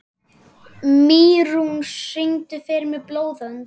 Mýrún, syngdu fyrir mig „Blóðbönd“.